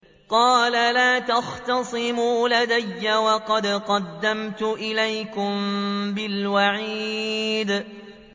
قَالَ لَا تَخْتَصِمُوا لَدَيَّ وَقَدْ قَدَّمْتُ إِلَيْكُم بِالْوَعِيدِ